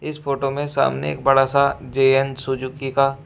इस फोटो में सामने एक बड़ा सा जे एन सुजुकी का--